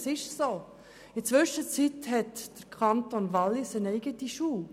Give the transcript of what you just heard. In der Zwischenzeit führt der Kanton Wallis eine eigene Schule.